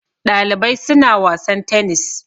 Ɗalibai suna wasan tenis